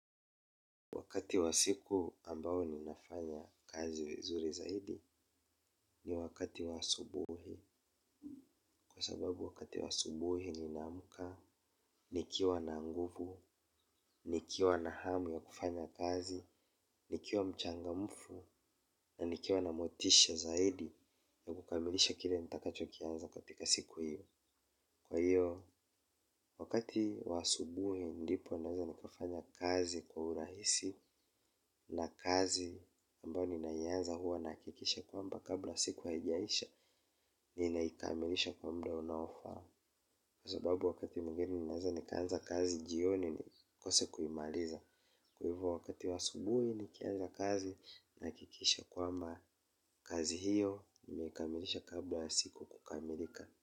Wakati wa siku ambao ninafanya kazi vizuri zaidi ni wakati wa asubuhi. Kwa sababu wakati wa asubuhi ninaamka, nikiwa na nguvu, nikiwa na hamu ya kufanya kazi, nikiwa mchangamfu na nikiwa na motisha zaidi ya kukamilisha kile nitakachokianza katika siku hiyo. Kwa hiyo, wakati wa asubuhi ndipo naweza nikafanya kazi kwa urahisi na kazi ambayo ninaianza huwa nahakikisha kwamba kabla siku haijaisha ninaikamilisha kwa muda unaofaa. Kwa sababu wakati mwingine naweza nikaanza kazi jioni nikose kuimaliza. Kwa hivo wakati wa asubuhi nikienda kazi nahakikisha kwamba kazi hiyo ninaikamilisha kabla ya siku kukamilika.